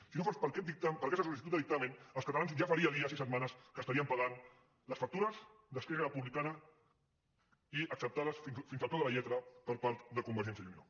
si no fos per aquesta sol·licitud de dictamen els catalans ja faria dies i setmanes que estarien pagant les factures d’esquerra republicana i acceptades fins al peu de la lletra per part de convergència i unió